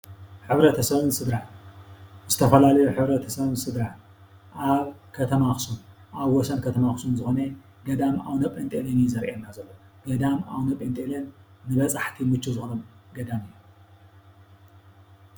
ሕ/ሰብን ስድራን :-ዝተፈላለዩ ሕ/ሰብን ስድራን ኣብ ኸተማ ኣክሱም ኣብ ወሰን ከተማ ኣክሱም ዝኾኑ ገዳም ኣብነጴንጦለን እዩ ዘርእየና ዘሎ። ገዳመ ኣብነጴንጦለን ንበፃሕቲ ምችው ዝኾነ ገዳም እዩ።